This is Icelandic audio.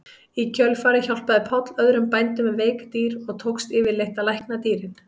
Í kjölfarið hjálpaði Páll öðrum bændum með veik dýr og tókst yfirleitt að lækna dýrin.